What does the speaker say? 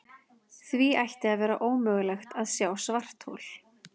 Því ætti að vera ómögulegt að sjá svarthol.